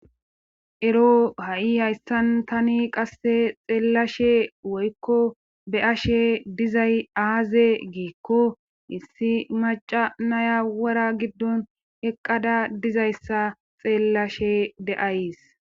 ero ha7i hayssan tani qasse xeellashe woykko be7ashe dizay aaze giikko issi maca nayawara giddon eqqada dizayssa xeellashe de7ays